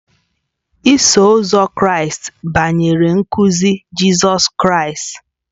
Iso Ụzọ Kraịst banyere nkuzi Jizọs Kraịst.